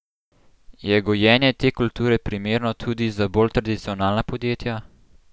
Je gojenje te kulture primerno tudi za bolj tradicionalna podjetja?